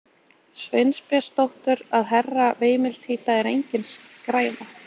Sveinbjörnsdóttur að Herra veimiltíta er engin skræfa!